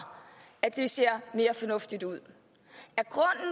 at det ser mere fornuftigt ud